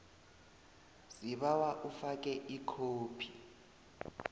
sibawa ufake ikhophi